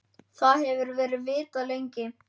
Það hefur verið vitað lengi.